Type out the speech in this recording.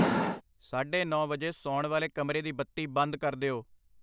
ਸਾਢੇ ਨੌਂ ਵਜੇ ਸੌਣ ਵਾਲੇ ਕਮਰੇ ਦੀ ਬੱਤੀ ਬੰਦ ਕਰ ਦਿਓ।